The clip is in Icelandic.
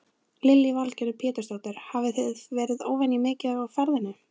Lillý Valgerður Pétursdóttir: Hafið þið verið óvenju mikið á ferðinni?